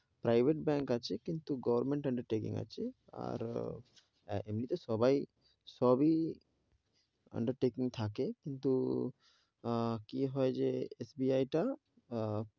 Private bank আছে, কিন্তু government undertaking আছে, তো এমনি তে সবাই, সবি undertaking থাকে কিন্তু, আহ কি হয় যে SBI টা আহ